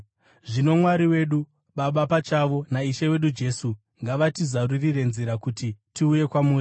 Zvino Mwari wedu, Baba pachavo naIshe wedu Jesu ngavatizarurire nzira kuti tiuye kwamuri.